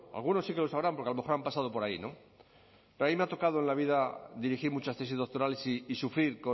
algunos sí que lo sabrán porque a lo mejor han pasado por ahí no pero a mí me ha tocado en la vida dirigir muchas tesis doctorales y sufrir